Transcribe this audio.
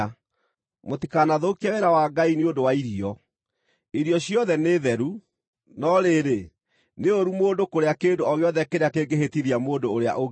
Mũtikanathũkie wĩra wa Ngai nĩ ũndũ wa irio. Irio ciothe nĩ theru, no rĩrĩ, nĩ ũũru mũndũ kũrĩa kĩndũ o gĩothe kĩrĩa kĩngĩhĩtithia mũndũ ũrĩa ũngĩ.